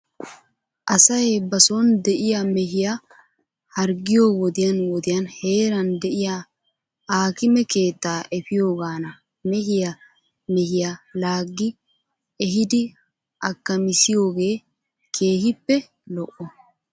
Asay ba son de'iyaa mehiyaa harggiyoo wodiyan wodiyan heeran diyaa aakime keetaa efiyoogan na mehiya mehiyaa laaggi ehidiakamissiyoogee keehippe lo"o.